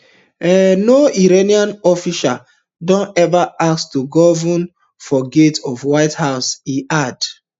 um no iranian official don ever ask to grovel for gates of white house e add